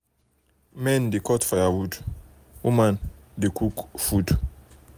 men dey cut firewood firewood women dey cook food.